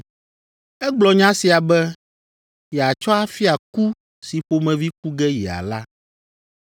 Egblɔ nya sia be yeatsɔ afia ku si ƒomevi ku ge yeala.